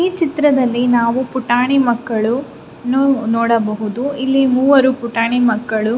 ಈ ಚಿತ್ರದಲ್ಲಿ ನಾವು ಪುಟಾಣಿ ಮಕ್ಕಳ್ನು ನೋಡಬಹುದು ಇಲ್ಲಿ ಮೂವರು ಪುಟಾಣಿ ಮಕ್ಕಳು.